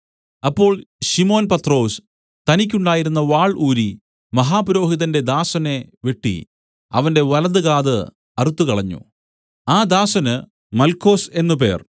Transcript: അപ്പോൾ ശിമോൻ പത്രൊസ് തനിക്കുണ്ടായിരുന്ന വാൾ ഊരി മഹാപുരോഹിതന്റെ ദാസനെ വെട്ടി അവന്റെ വലതുകാത് അറുത്തുകളഞ്ഞു ആ ദാസന് മല്ക്കൊസ് എന്നു പേർ